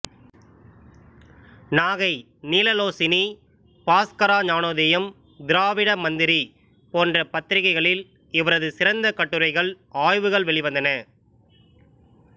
நாகை நீலலோசினி பாஸ்கரா ஞானோதயம் திராவிடக் மந்திாி போன்ற பத்திாிகைகளில் இவரது சிறந்த கட்டுரைகள் ஆய்வுகள் வெளிவந்தன